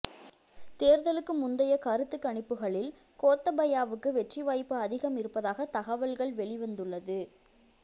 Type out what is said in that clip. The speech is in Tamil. தேர்தலுக்கு முந்தைய கருத்து கணிப்புகளில் கோத்தபயாவுக்கு வெற்றி வாய்ப்பு அதிகம் இருப்பதாக தகவல்கள் வெளிவந்துள்ளது